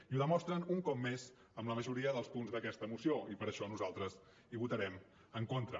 i ho demostren un cop més amb la majoria dels punts d’aquesta moció i per això nosaltres hi votarem en contra